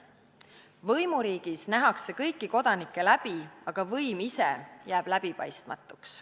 Võimuriigis nähakse kõiki kodanikke läbi, aga võim ise jääb läbipaistmatuks.